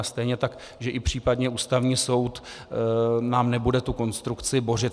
A stejně tak že i případně Ústavní soud nám nebude tu konstrukci bořit.